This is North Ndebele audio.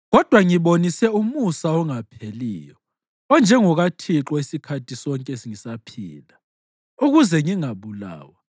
Kodwa ngibonise umusa ongapheliyo onjengokaThixo isikhathi sonke ngisaphila, ukuze ngingabulawa,